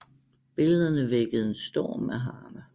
Billederne vækkede en storm af harme